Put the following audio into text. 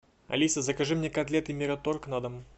алиса закажи мне котлеты мираторг на дом